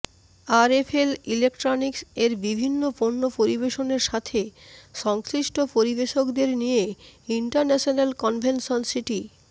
RFL electronics এর বিভিন্ন পণ্য পরিবেশনের সাথে সংশ্লিষ্ট পরিবেশকদের নিয়ে ইন্টারন্যাশনাল কনভেনশন সিটি